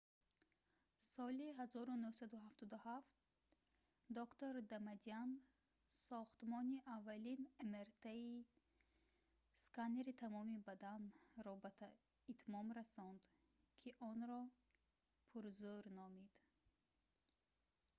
соли 1977 доктор дамадян сохтмони аввалин мрт-сканери тамоми бадан"‑ро ба итмом расонд ки онро пурзӯр номид